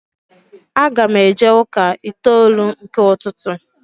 Aga m eje ụka itoolu nke ụtụtụ